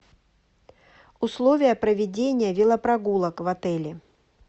условия проведения велопрогулок в отеле